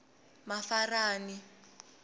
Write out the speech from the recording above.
mafarani